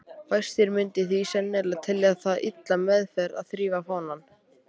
Fæstir myndu því sennilega telja það illa meðferð að þrífa fánann.